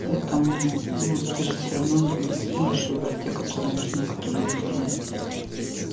поэтому ну ты же всё равно не сможешь выбрать те которые нужны которые не нужны